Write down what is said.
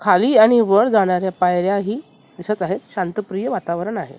खाली आणि वर जाणाऱ्या पायऱ्या ही दिसत आहेत शांत प्रिय वातावरण आहे.